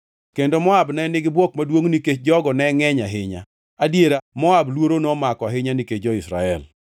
kendo Moab ne nigi bwok maduongʼ nikech jogo ne ngʼeny ahinya. Adiera, Moab luoro nomako ahinya nikech jo-Israel.